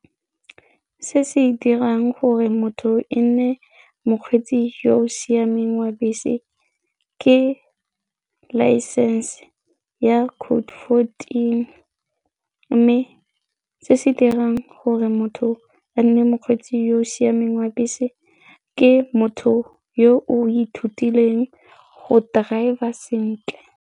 Se se dirang gore motho e nne mokgweetsi yo o siameng wa bese ke license ya code fourteen mme se se dirang gore motho a nne mokgweetsi yo o siameng wa bese ke motho yo o ithutileng go driver sentle.